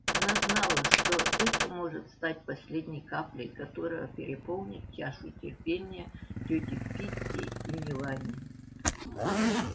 она знала что это может стать последней каплей которая переполнит чашу терпения тёти питти и мелани